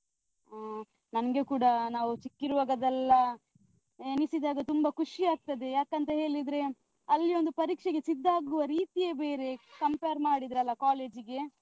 ಹ್ಮ ನಮ್ಗೆ ಕೂಡ ಆ ನಾವು ಚಿಕ್ಕ್ ಇರುವಾಗದೆಲ್ಲ ಎನಿಸಿದಾಗ ತುಂಬ ಖುಷಿ ಆಗ್ತದೆ ಯಾಕಂತ ಹೇಲಿದ್ರೆ, ಅಲ್ಲಿ ಒಂದು ಪರೀಕ್ಷೆಗೆ ಸಿದ್ದ ಆಗುವ ರೀತಿಯೇ ಬೇರೆ compare ಮಾಡಿದ್ರೆ ಅಲ college ಗೆ?